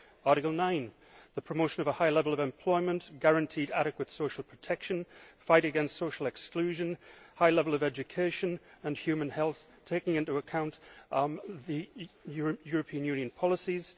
Article 9 the promotion of a high level of employment, guaranteed adequate social protection, fight against social exclusion, high level of education and human health, taking into account the European Union policies